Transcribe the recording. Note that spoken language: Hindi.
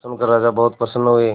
यह सुनकर राजा बहुत प्रसन्न हुए